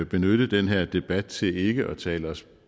benytte den her debat til ikke at tale os